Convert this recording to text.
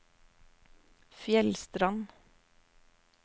Fjellstrand